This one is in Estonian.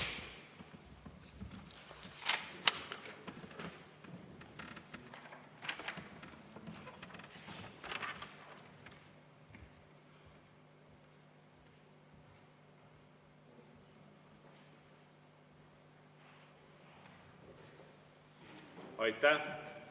Aitäh!